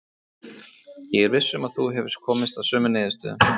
Ég er viss um að þú hefur komist að sömu niðurstöðu.